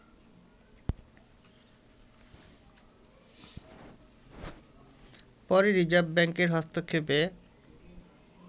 পরে রিজার্ভ ব্যাঙ্কের হস্তক্ষেপে